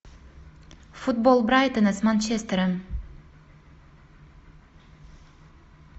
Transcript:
футбол брайтона с манчестером